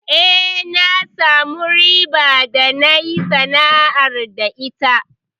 Eh, na samu riba da nayi sana'ar da ita.